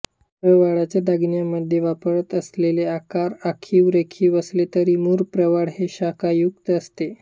प्रवाळाचे दागिन्यांमध्ये वापरताना असलेले आकार आखीवरेखीव असले तरी मूळ प्रवाळ हे शाखायुक्त असते